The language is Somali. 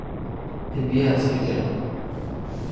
Cidiyaha iska jar.